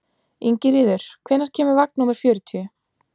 Ingiríður, hvenær kemur vagn númer fjörutíu?